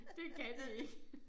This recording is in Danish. Det kan de ikke